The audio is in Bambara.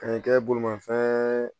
Ka n'i kɛ bolimafɛn